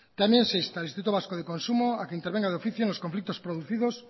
también se instala el instituto vasco de consumo a que intervenga de oficio en los conflictos producidos